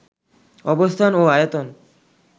অবস্থান ও আয়তন